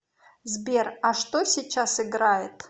сбер а что сейчас играет